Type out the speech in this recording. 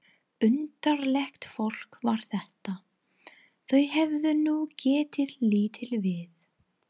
Undarlegt fólk var þetta, þau hefðu nú getað litið við!